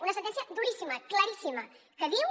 una sentència duríssima claríssima que diu